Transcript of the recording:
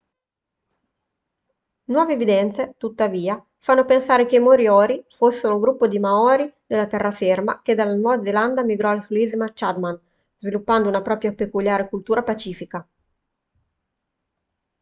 nuove evidenze tuttavia fanno pensare che i moriori fossero un gruppo di maori della terraferma che dalla nuova zelanda migrò sulle isole chatham sviluppando una propria peculiare cultura pacifica